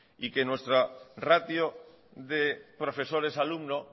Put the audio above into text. y que nuestra ratio de profesores alumno